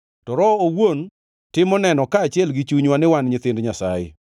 To Roho owuon timo neno kaachiel gi chunywa ni wan nyithind Nyasaye.